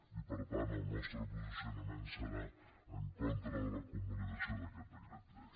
i per tant el nostre posicionament serà en contra de la convalidació d’aquest decret llei